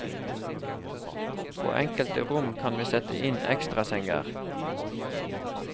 På enkelte rom kan vi sette inn ekstrasenger.